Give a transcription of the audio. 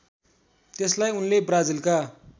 त्यसलाई उनले ब्राजिलका